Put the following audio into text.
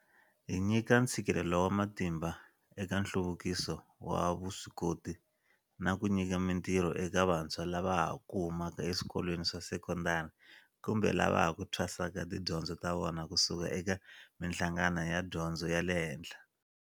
Hi nyika ntshikelelo wa matimba eka nhluvukiso wa vuswikoti na ku nyika mitirho eka vantshwa lava ha ku huma ka eswikolweni swa sekondari kumbe lava ha ku thwasaka tidyondzo ta vona ku suka eka mihlangano ya dyondzo ya le henhla.